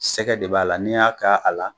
Sɛgɛ de b'a la n'i y'a k'a la